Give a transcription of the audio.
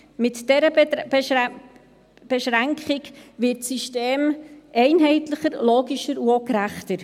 Mit dieser Beschränkung wird das System einheitlicher, logischer und auch gerechter.